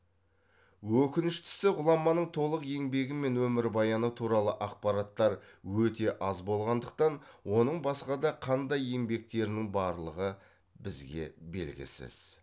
өкініштісі ғұламаның толық еңбегі мен өмірбаяны туралы ақпараттар өте аз болғандықтан оның басқа да қандай еңбектерінің барлығы бізге белгісіз